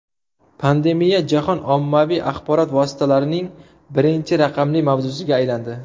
Pandemiya jahon ommaviy axborot vositalarining birinchi raqamli mavzusiga aylandi.